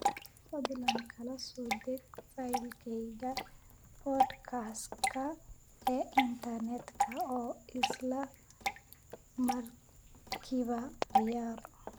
fadlan kala soo deg faylkayga podcast-ka ee internetka oo isla markiiba ciyaar